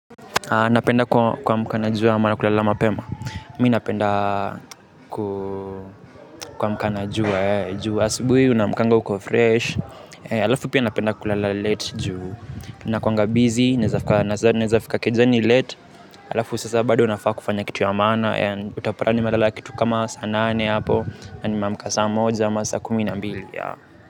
Napenda kuamka na jua ama kulala mapema, mimi napenda kuamka na jua juu asubuhi unaamkanga uko fresh, halafu pia napenda kulala late juu nakuanga busy, naweza fika kejani late, halafu sasa bado nafaa kufanya kitu ya maana, utapata nimelala kitu kama saa nane hapo, na nimeamka saa moja, ama saa kumi na mbili.